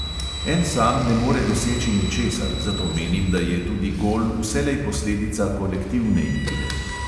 En sam ne more doseči ničesar, zato menim, da je tudi gol vselej posledica kolektivne igre.